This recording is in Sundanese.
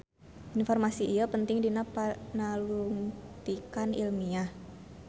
Informasi ieu penting dina panalungtikan ilmiah.